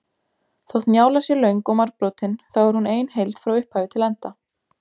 Þótt Njála sé löng og margbrotin þá er hún ein heild frá upphafi til enda.